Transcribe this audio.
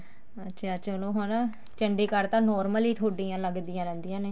ਅੱਛਿਆ ਚਲੋ ਹਨਾ ਚੰਡੀਗੜ੍ਹ ਤਾਂ normally ਤੁਹਾਡੀਆਂ ਲੱਗਦੀਆਂ ਰਹਿੰਦੀਆਂ ਨੇ